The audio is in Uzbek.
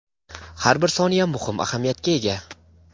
har bir soniya muhim ahamiyatga ega.